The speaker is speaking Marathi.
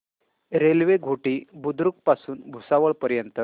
रेल्वे घोटी बुद्रुक पासून भुसावळ पर्यंत